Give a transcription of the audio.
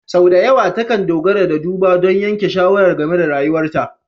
Sau da yawa takan dogara ga duba don yanke shawara game da rayuwarta.